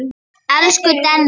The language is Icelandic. Elsku Denna.